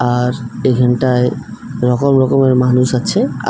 আর এখানটায় রকম রকমের মানুষ আছে আর--